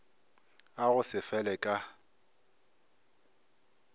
a go se fele ka